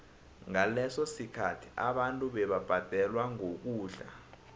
ngaleso sikhathi abantu bebabhadelwa ngokudla